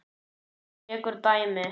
Hann tekur dæmi.